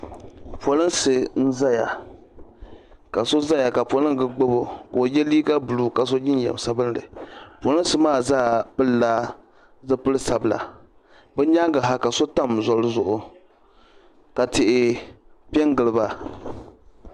Polinsi n zaya ka so zaya ka poliga gbibi o ka o yɛ liiga bluu ka so jinjam sabinli polinsi maa zaa pili la zipili sabla be o nyaaŋa ha ka so tam zoli zuɣu ka tihi pɛ n gili ba